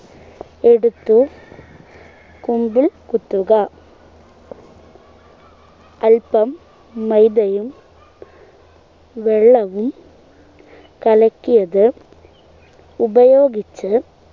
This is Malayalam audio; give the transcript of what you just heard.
എടുത്ത് കുമ്പിൾ കുത്തുക അല്പം മൈദയും വെള്ളവും കലക്കിയത് ഉപയോഗിച്ച്